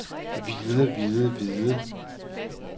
hvide hvide hvide